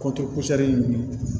ninnu